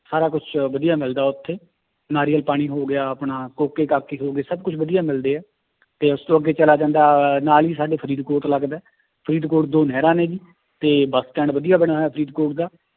ਸਾਰ ਕੁਛ ਵਧੀਆ ਮਿਲਦਾ ਉੱਥੇ ਨਾਰੀਅਲ ਪਾਣੀ ਹੋ ਗਿਆ ਆਪਣਾ ਹੋ ਗਏ, ਸਭ ਕੁਛ ਵਧੀਆ ਮਿਲਦੇ ਹੈ ਤੇ ਉਸ ਤੋਂ ਅੱਗੇ ਚਲਾ ਜਾਂਦਾ ਹੈ ਨਾਲ ਹੀ ਸਾਡੇ ਫਰੀਦਕੋਟ ਲੱਗਦਾ ਹੈ ਫਰੀਦਕੋਟ ਦੋ ਨਹਿਰਾਂ ਨੇ ਜੀ ਤੇ ਬਸ stand ਵਧੀਆ ਬਣਿਆ ਹੋਇਆ ਫਰੀਦਕੋਟ ਦਾ